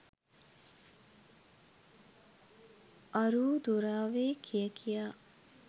අරූ දුරාවේ කිය කියා